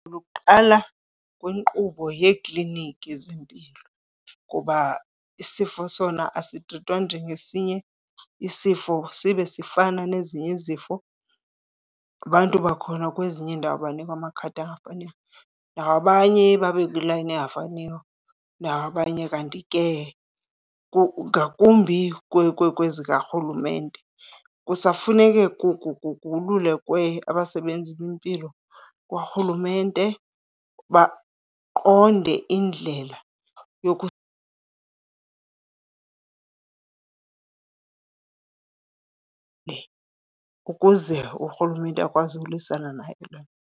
Luqala kwinkqubo yeekliniki zimpilo kuba isifo sona asitrithwa njengesinye isifo sibe sifana nezinye izifo. Abantu bakhona kwezinye iindawo banikwa amakhadi angafaniyo nawabanye, babe kwiilayini engafaniyo nawabanye. Kanti ke ngakumbi kwezikarhulumente, kusafuneke kululekwe abasebenzi bempilo kwarhulumente baqonde indlela ukuze urhulumente akwazi ulwisana nayo le nto.